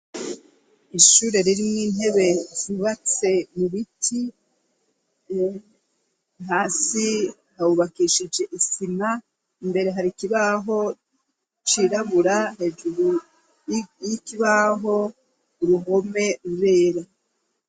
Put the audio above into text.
Ishure ririmwo intebe zubatse mu biti, hasi hubakishije isima, imbere hari ikibaho cirabura, hejuru y'ikibaho uruhome rwera.